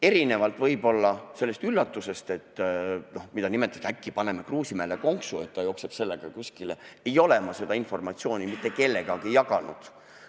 Erinevalt võib-olla sellest üllatusest, mida nimetatakse nii, et äkki paneme Kruusimäele konksu, et ta jookseb sellega kuskile, ei ole ma seda informatsiooni mitte kellegagi jaganud.